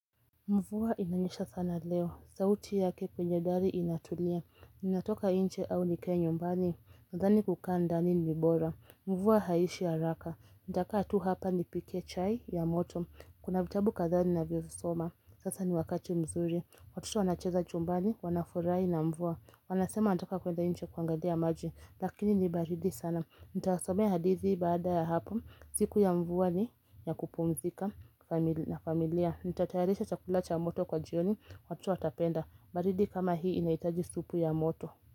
Mvua inanyesha sana leo. Sauti yake kwenye gari inatulia. Ninatoka inje au nikae nyumbani. NNdhani kukaa ndani ni bora. Mvua haiishi ya raka. Nitakaa tu hapa ni pike chai ya moto. Kuna vitabu kadhaa ni na vyo soma. Sasa ni wakati mzuri. Watoto wanacheza chumbani. Wanafurahi na mvua. Wanasema wanataka kuenda nje kuangalia maji. Lakini nibaridi sana. Nitasomea hadidhi baada ya hapo. Siku ya mvua ni ya kupumzika na familia. Nitatayarisha chakulacha moto kwa jioni watoto watapenda baridi kama hii inahitaji supu ya moto.